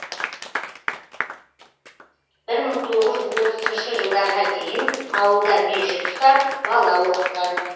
бір мың тоғыз жүз отызыншы жылдарға дейін ауылда мешіт ұстап бала оқытқан